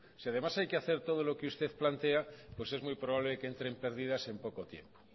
si además hay que hacer todo lo que usted plantea pues es muy probable que entre en pérdidas en poco tiempo